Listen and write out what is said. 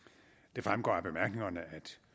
det fremgår af bemærkningerne at